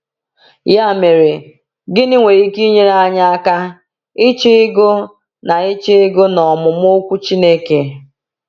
Ya mere, gịnị nwere ike inyere anyị aka ịchọ ịgụ na ịchọ ịgụ na ọmụmụ Okwu Chineke?